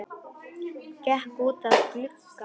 Gekk út að glugga.